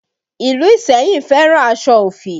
Ìlú Iseyin fẹ́ràn aṣọ ofi